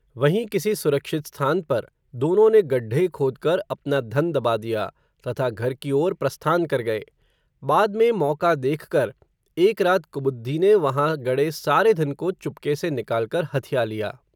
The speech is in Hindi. वहीं किसी सुरक्षित स्थान पर, दोनों ने गड्ढ़े खोदकर, अपना धन दबा दिया, तथा घर की ओर प्रस्थान कर गये. बाद में मौका देखकर, एक रात कुबुद्धि ने वहाँ गड़े सारे धन को चुपके से निकालकर हथिया लिया.